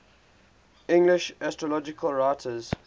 english astrological writers